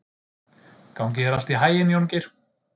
Gangi þér allt í haginn, Jóngeir.